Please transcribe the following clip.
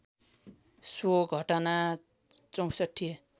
so घटना ६४